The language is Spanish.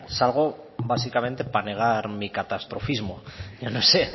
salgo básicamente para negar mi catastrofismo yo no sé